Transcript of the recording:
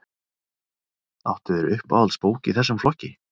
Áttu þér uppáhalds bók í þessum flokki?